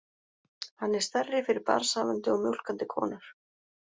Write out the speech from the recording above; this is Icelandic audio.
Hann er stærri fyrir barnshafandi og mjólkandi konur.